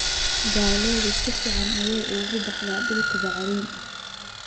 Galleydu si fiican ayay ugu baxdaa dhulka bacrin ah.